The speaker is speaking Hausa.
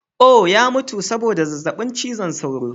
Oh! ya mutu saboda zazzabin cizon sauro.